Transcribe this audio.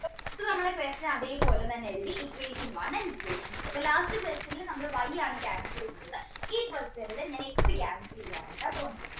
നമ്മളെ question അതേപോലെ തന്നെ എഴുതി equation one and equation two അപ്പോ last question ൽ നമ്മൾ Y ആണ് cancel ചെയ്തത് ഈ question ൽ ഞാൻ x cancel ചെയ്യാനായിട്ടാണ് പോകുന്നത്